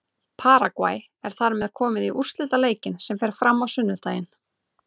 Paragvæ er þar með komið í úrslitaleikinn sem fram fer á sunnudaginn.